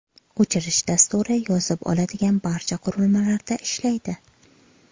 O‘chirish dasturi yozib oladigan barcha qurilmalarda ishlaydi.